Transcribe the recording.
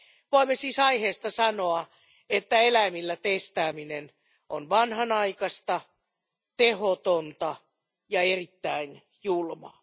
Voimme siis aiheesta sanoa, että eläimillä testaaminen on vanhanaikaista, tehotonta ja erittäin julmaa.